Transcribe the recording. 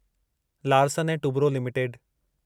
Larsen and Toubro limited